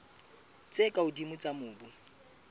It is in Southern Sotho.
tse ka hodimo tsa mobu